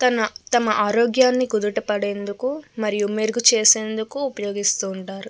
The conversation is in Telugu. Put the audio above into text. తమ ఆరోగ్యాన్ని కుదుట పడేందుకు మరియు మెరుగు చేసేందుకు ఉపయోగిస్తుంటారు.